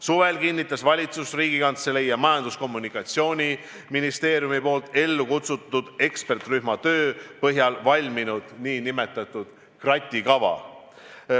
Suvel kinnitas valitsus Riigikantselei ning Majandus- ja Kommunikatsiooniministeeriumi eestvõttel ellu kutsutud eksperdirühma töö põhjal valminud nn kratikava.